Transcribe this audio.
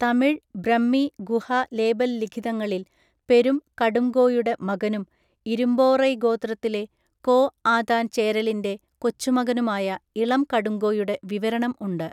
തമിഴ് ബ്രഹ്മി ഗുഹ ലേബൽ ലിഖിതങ്ങളിൽ പെരും കടുംഗോയുടെ മകനും ഇരുമ്പോറൈ ഗോത്രത്തിലെ കോ ആതാൻ ചേരലിന്റെ കൊച്ചുമകനുമായ ഇളം കടുംഗോയുടെ വിവരണം ഉണ്ട്.